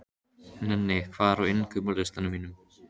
Nenni, hvað er á innkaupalistanum mínum?